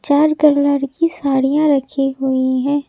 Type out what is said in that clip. चार कलर की साड़ियां रखी हुई हैं।